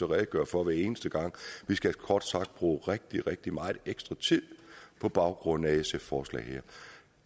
redegøre for hver eneste gang vi skal kort sagt bruge rigtig rigtig meget ekstra tid på baggrund af sfs forslag her